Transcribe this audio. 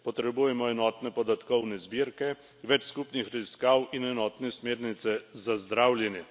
Potrebujemo enotne podatkovne zbirke, več skupnih raziskav in enotne smernice za zdravljenje.